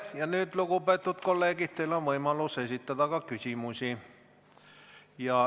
Ja nüüd, lugupeetud kolleegid, on teil võimalus esitada küsimusi.